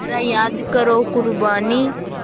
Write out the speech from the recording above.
ज़रा याद करो क़ुरबानी